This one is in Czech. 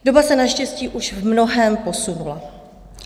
Doba se naštěstí už v mnohém posunula.